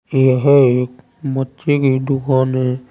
यह एक मच्छी की दुकान है।